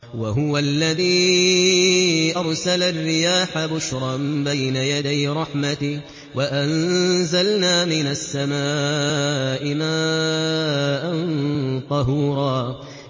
وَهُوَ الَّذِي أَرْسَلَ الرِّيَاحَ بُشْرًا بَيْنَ يَدَيْ رَحْمَتِهِ ۚ وَأَنزَلْنَا مِنَ السَّمَاءِ مَاءً طَهُورًا